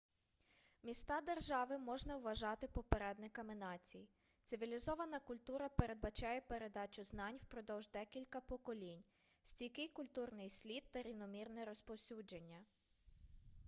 міста-держави можна вважати попередниками націй цивілізована культура передбачає передачу знань впродовж декілька поколінь стійкий культурний слід та рівномірне розповсюдження